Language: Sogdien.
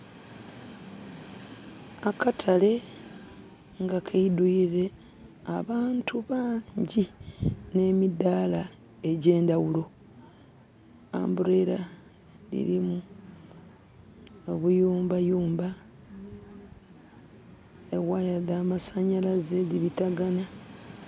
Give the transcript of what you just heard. Aakatale nga keidhwire abantu baangi nhe midhala egyendhaghulo. Manviiri dhirimu obuyumba yumba , eghaya dha masanhalaze dhi bitagana.